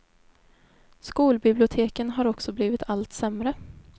Skolbiblioteken har också blivit allt sämre.